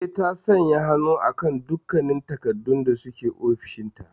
Eh, ta sanya hannu akan dukkannin takardun da suke ofis dinta.